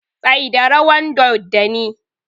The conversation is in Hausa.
Tsaida rawan doddani!